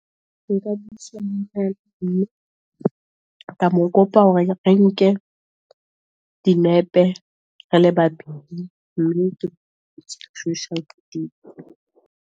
Ka mo kopa hore re nke dinepe re le babedi .